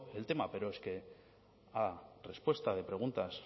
el tema pero es que a respuesta de preguntas